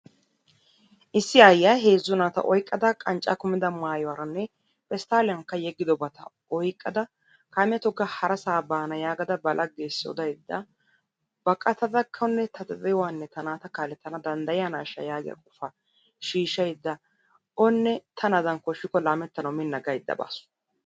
issi aayyiya heezzu naata oyqqada qancca kummida maayuwaaranne pesttaliyankka yeggidobata oyqqada kaamiya togga harassaa baana yaagada ba laggeessi odaydda baqattadakkonne ta ta de'uwanne ta naata kaalettana danddayiyanashsha yaagiya qofa shiishshaydda, onne tanadan koshshikko laamettanawu mina yaagaydda baasu.